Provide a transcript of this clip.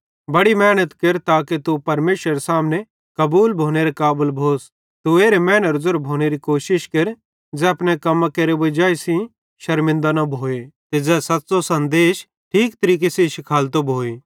बड़ी मेहनत केर ताके तू परमेशरेरे सामने कबूल भोनेरे काबल भोस तू एरे मैनेरो ज़ेरो भोनेरी कोशिश केर ज़ै अपने कम्मे सेइं वजाई सेइं शरमिनदा न भोए ते ज़ै सच़्च़ो सन्देश ठीक तरीके सेइं शिखालतो भोए